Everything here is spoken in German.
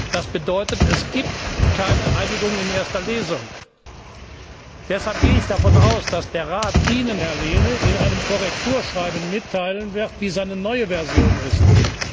Das bedeutet, es gibt keine Einigung in erster Lesung. Deshalb gehe ich davon aus, dass der Rat Ihnen, Herr Lehne, in einem Korrekturschreiben mitteilen wird, wie seine neue Version lautet.